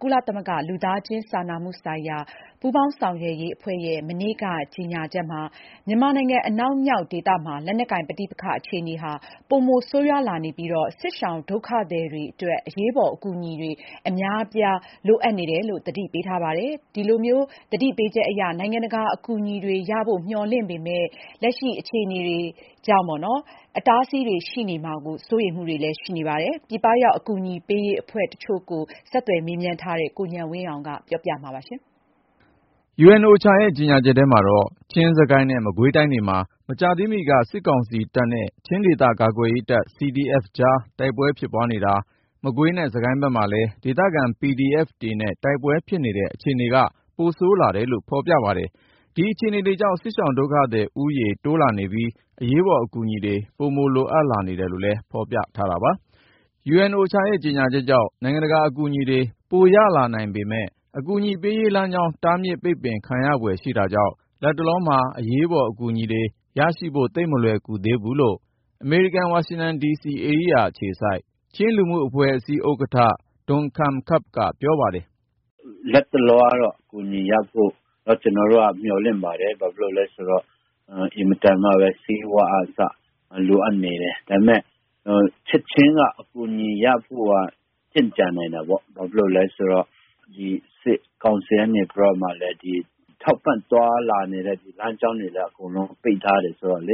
ကုလသမဂ္ဂ လူသားချင်းစာနာမှုဆိုင်ရာ ပူးပေါင်းဆောင်ရွက်ရေးအဖွဲ့က နိုဝင်ဘာ(၃)ရက်နေ့မှာ ကြေညာချက်ထုတ်ပြန်ခဲ့ပါတယ်။ UN-OCHA ရဲ့ ကြေညာချက်ကြောင့် နိုင်ငံတကာ အကူအညီတွေ ပိုရ လာနိုင်မယ်လို့ မျှော်လင့်ရပေမယ့် ၊ လက်တွေ့မှာ တားဆီးပိတ်ပင်မှုတွေ ရှိနေတာကြောင့် လိုအပ်သူတွေထံ အကူအညီတွေ ရောက်ဖို့ မလွယ်သေးဘူးလို့ ပြည်ပရောက်အကူအညီ ပေးရေးအဖွဲ့တချို့ ပြောပါတယ်။ ဆက်သွယ်မေးမြန်းထားတဲ့ ကိုဉာဏ်ဝင်းအောင်က တင်ပြထားပါတယ်။ UN-OCHA ရဲ့ ကြေညာချက်ထဲမှာတော့ ချင်း ၊ စစ်ကိုင်းနဲ့ မကွေးတိုင်းတွေမှာ မကြာသေးမီက စစ်ကောင်စီတပ်နဲ့ ချင်းဒေသ ကာကွယ်ရေးတပ် CDF ကြား တိုက်ပွဲဖြစ်နေတာ၊ မကွေးနဲ့ စစ်ကိုင်းဖက်မှာလည်း ဒေသခံ PDF တွေနဲ့ တိုက်ပွဲဖြစ်နေတဲ့ အခြေအနေက ပိုဆိုးလာတယ်လို့ ဖေါ်ပြပါတယ်။ ဒီအခြေအနေတွေကြောင့် စစ်ရှောင်ဒုက္ခသည် ဦးရေ တိုးလာနေပြီး အရေးပေါ် အကူအညီတွေ ပိုလိုအပ်နေတယ်လို့လည်း ဖေါ်ပြထားတာပါ။ UN-OCHA ရဲ့ ကြေညာချက်ကြောင့် နိုင်ငံတကာ အကူအညီတွေ ပိုရလာနိုင်ပေမယ့် အကူအညီပေးရေးလမ်းကြောင်း တားမြစ်ပိတ်ပင် ခံရဖွယ်ရှိတာကြောင့် လတ်တလောမှာ အရေးပေါ်အကူအညီတွေ ရဖို့ သိပ်မလွယ်ကူသေးဘူးလို့ အမေရိကန်ပြည်ထောင်စု ဝါရှင်တန်ဒီစီဧရိယာ အခြေစိုက် Chin Community USA ချင်းလူမှုအဖွဲ့အစည်း ဥက္ကဌ ဒွန်ခန်ခပ်(ပ်)က ပြောပါတယ်။ " လတ်တလောကတော့ အကူအညီတွေရဖို့ မျှော်လင့်ပါတယ်။ ဘာဖြစ်လို့လည်းဆိုတော့ အစားအသောက် ဆေးဝါးကအစ အင်မတန်မှ လိုအပ်နေတယ်။ ဒါပေမဲ့ ချက်ချင်း အကူအညီရဖို့ ကြန့်ကြာနိုင်တာပေါ့။ ဘာလို့လဲဆိုတော့ ဒီ ထောက်ပံ့သွားလာနေတဲ့ လမ်းကြောင်းတွေကို စစ်ကောင်စီက နေပြီးတော့ အကုန်ပိတ်ထားတာဆိုတော့ ၊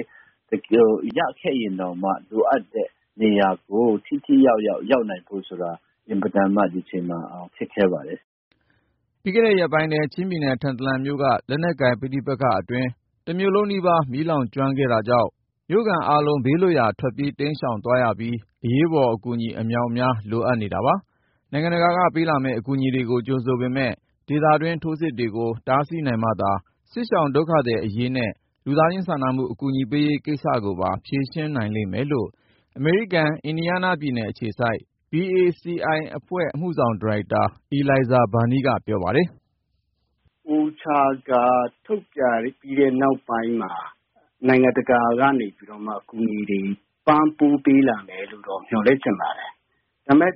တကယ် ရခဲ့ရင်တောင်မှ လိုအပ်တဲ့နေရာကို ထိထိရောက်ရောက် ရောက်နိုင်ဖို့ဆိုတာ ဒီအချိန်မှာ အင်မတန်မှ ခက်ခဲပါတယ်။ " ပြီးခဲ့တဲ့ ရက်ပိုင်းထဲ ချင်းပြည်နယ် ထန်တလန်မြို့က လက်နက်ကိုင်ပဋိပက္ခအတွင်း တမြို့လုံးနီးပါး မီးလောင်ကျွမ်းတာကြောင့် မြို့ခံအားလုံး ဘေးလွတ်ရာ ထွက်ပြေး တိမ်းရှောင်သွားရပြီး အရေးပေါ်အကူအညီ အမြောက်အများ လိုအပ်နေတာပါ။ နိုင်ငံတကာက ပေးလာမယ့် အကူအညီတွေကို ကြိုဆိုပေမယ့် ၊ ဒေသတွင်း ထိုးစစ်တွေကို တားဆီးနိုင်မှသာ စစ်ရှောင်ဒုက္ခသည် အရေးနဲ့ လူသားချင်းစာနာမှု အကူညီပေးရေးကိစ္စကိုပါ ဖြေရှင်းနိုင်လိမ့်မယ်လို့ အမေရိကန်၊ အင်ဒီယားနားပြည်နယ် အခြေစိုက် BACI မြန်မာ-အမေရိကန် လူမှုကူညီရေးအသင်း အမှုဆောင်ဒါရိုက်တာ အီလိုင်ဇာ ဘာနီးက ပြောပါတယ်။ " OCHA ကထုတ်ပြန်ပြီးနောက်ပိုင်းမှာ နိုင်ငံတကာက အကူအညီတွေ ပံ့ပိုးပေးလာမယ်လို့တော့ မျှော်လင့်ချင်ပါတယ်။ ဒါပေမဲ့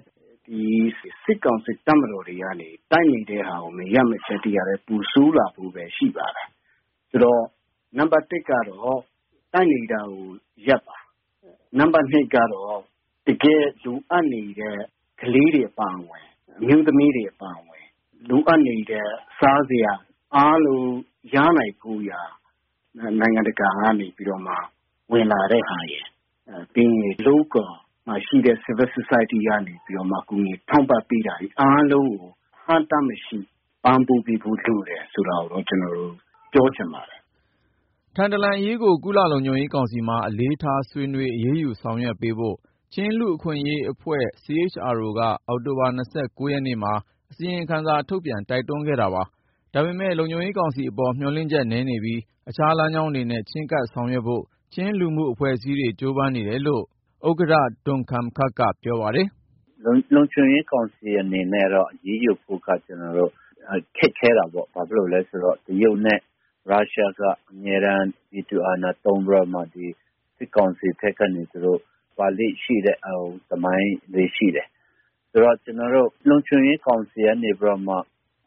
စစ်ကောင်စီ တပ်တွေကနေ တိုက်နေတဲ့ဟာကို မရပ်မချင်း ဒီဟာတွေ ပိုဆိုးလာဖို့ပဲ ရှိပါတယ်။ ဆိုတော့ နံပါတ်(၁)ကတော့ တိုက်နေတာကို ရပ်ပါ။ နံပါတ်(၂)ကတော့ တကယ်လိုအပ်နေတဲ့ ကလေးတွေ အမျိုးသမီးတွေ အပါအဝင်၊ လိုအပ်နေတဲ့ စားစရာ ရနိုင်ဖို့ရာ နိုင်ငံတကာကနေပြီး ဝင်လာတဲ့ဟာရယ်၊ ဒီဒေသမှာရှိတဲ့ အရပ်ဖက်လူမှုအဖွဲ့အစည်း တွေကနေပြီးတော့မှ ကူညီထောက်ပံ့မှုတွေ အားလုံးကို အဟန့်အတားမရှိ ပံ့ပိုးပေးဖို့ လိုတယ်ဆိုတာကိုတော့ ကျနော်တို့ ပြောချင်ပါတယ်။ " ထန်တလန်အရေးကို ကုလ-လုံခြုံရေးကောင်စီမှာ အလေးထားဆွေးနွေးပြီး အရေးယူဆောင်ရွက်ပေးဖို့ ချင်းလူ့အခွင့်အရေးအဖွဲ့ CHRO က အောက်တိုဘာ(၂၉)နေ့မှာ အစီရင်ခံစာထုတ်ပြန် တိုက်တွန်းထားပါတယ်။ ဒါပေမဲ့ လုံခြုံရေးကောင်စီအပေါ် မျှော်လင့်ချက်နည်းနေပြီး အခြား လမ်းကြောင်းတွေနဲ့ ချည်းကပ်ဆောင်ရွက်ဖွဲ့ ချင်းလူမှုအဖွဲ့အစည်းတွေ ကြိုးပမ်းနေတယ်လို့ ချင်းလူမှုအဖွဲ့အစည်း ဥက္ကဌ ဒွန်ခန်ခပ်(ပ်)က ပြောပါတယ်။ " လုံခြုံရေးကောင်စီအနေနဲ့ အရေးယူဖို့က ခက်ခဲတာပေါ့။ တရုတ်နဲ့ ရုရှားက အမြဲတမ်း ဗီတိုအာဏာ သုံးပြီးတော့မှ စစ်ကောင်စီဖက်ကနေပြီး ကာကွယ်ပေးလေ့ရှိတဲ့ သမိုင်းလည်းရှိတယ်။ ဆိုတော့ လုံခြုံရေးကောင်စီက နေပြီးတော့မှ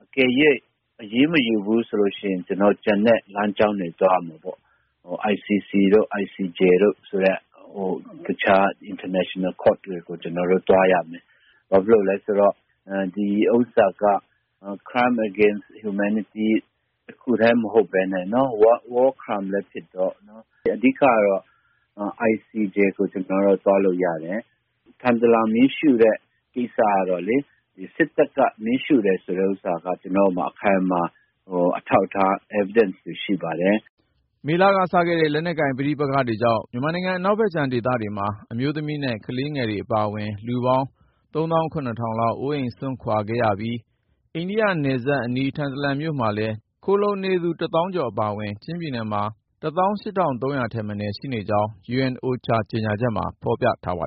အကယ်၍ အရေးမယူဘူးဆိုလို့ ရှိရင်၊ ကျနော်တို့ ကျန်တဲ့လမ်းကြောင်းတွေကနေ သွားရမှာပေါ့။ ICC တို့ ICJ တို့ ဆိုတဲ့ နိုင်ငံတကာ တရားရုံးတွေကို ကျနော်တို့သွားရမယ်။ ဒီဥစ္စာက Crime against Humanity တခုထဲ မဟုတ်ပဲနဲ့ War Crime လည်း ဖြစ်တော့ ၊ အဓိကတော့ ICJ ကို ကျနော်တို့သွားလို့ရတယ်။ ထန်တလန်မှာ မီးရှို့တဲ့ကိစ္စကတော့လေ ဒီစစ်တပ်က မီးရှို့တယ်ဆိုတဲ့ဥစ္စာ ကျနော်တို့မှာ အထောက်အထားတွေ အခိုင်အမာရှိပါတယ်။" မေလကစခဲ့တဲ့ လက်နက်ကိုင် ပဋိပက္ခတွေကြောင့် မြန်မာနိုင်ငံ အနောက်မြောက်ဖက်ဒေသမှာ အမျိုးသမီးနဲ့ ကလေးတွေ အပါအဝင် လူပေါင်း ၃၇,၀၀၀ လောက် အိုးအိမ်စွန့်ခွာ ထွက်ပြေးနေရပြီး အိန္ဒိယနိုင်ငံနယ်စပ်အနီး ထန်တလန်မြို့နယ်မှာ ခိုလှုံနေသူ ၁ သောင်းကျော် အပါအဝင် ချင်းပြည်နယ်မှာ ၁၈,၃၀၀ ထက်မနည်း ရှိနေကြောင်းလည်း UN-OCHA ကြေညာချက်မှာ ဖော်ပြထားတာပါ